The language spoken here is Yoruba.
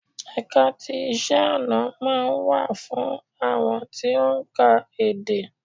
Ẹ̀ka ti iṣẹ́-ọ̀nà máa ń wà fún àwọn tí ó ń ka èdè.